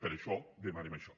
per això demanem això